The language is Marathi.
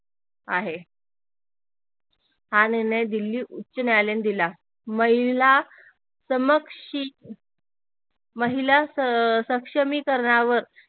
आहे हा निर्णय दिल्ली उच्च न्यायालयाने दिला महिला महिला सक्षमीकरणावर